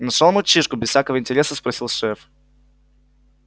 нашёл мальчишку без всякого интереса спросил шеф